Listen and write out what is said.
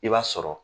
I b'a sɔrɔ